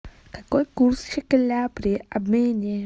какой курс шекеля при обмене